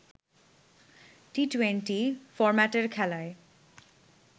T twenty ফরম্যাটের খেলায়